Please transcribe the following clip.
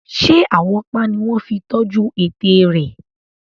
Ṣé àwọ́pá ni wọ́n fi tọ́jú ẹ̀tẹ̀ rẹ̀?